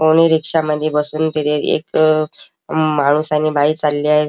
रिक्षामध्ये बसून तिथे एक माणूस आणि बाई चालली आहे.